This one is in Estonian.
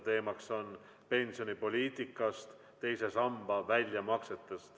Teemaks on pensionipoliitika ja II samba väljamaksed.